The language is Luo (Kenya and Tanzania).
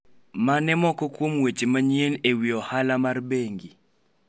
mane moko kuom weche manyien e wi ohala mar bengi